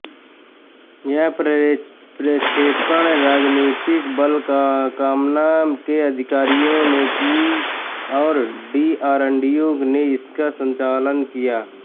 यह प्रक्षेपण रणनीतिक बल कमान के अधिकारियों ने किया और डीआरडीओ ने इसका संचालन किया